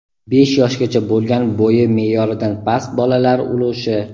besh yoshgacha bo‘lgan bo‘yi me’yoridan past bolalar ulushi;.